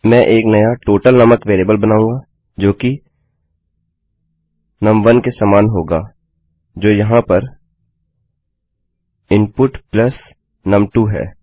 मैं एक नया टोटल नामक वेरिएबल बनाऊँगा जोकि num1के समान होगा जो यहाँ पर इनपुट प्लस नुम2 है